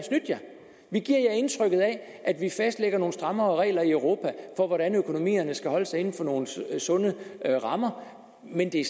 indtrykket af at vi fastlægger nogle strammere regler i europa for hvordan økonomierne skal holde sig inden for nogle sunde rammer men det